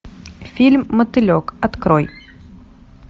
фильм мотылек открой